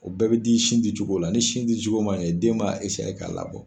O bɛɛ bɛ di sin dicogo la ni sin dicogo ma ɲɛ den b'a k'a labɔ.